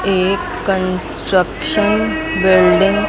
एक construction building --